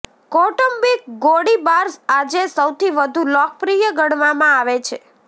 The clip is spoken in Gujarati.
કૌટુંબિક ગોળીબાર આજે સૌથી વધુ લોકપ્રિય ગણવામાં આવે છે